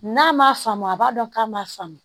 N'a ma faamu a b'a dɔn k'a ma faamu